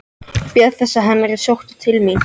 Bíða þess að hann yrði sóttur til mín?